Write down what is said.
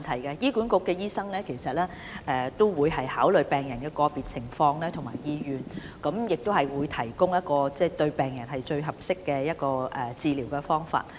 醫管局的醫生會考慮病人的個別情況及意願，以提供一種對病人最合適的治療方法。